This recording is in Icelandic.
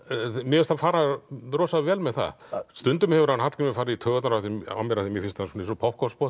mér finnst hann fara rosa vel með það stundum hefur Hallgrímur farið í taugarnar á mér af því mér finnst hann svona eins og